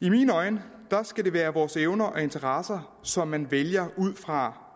i mine øjne skal det være evner og interesser som man vælger ud fra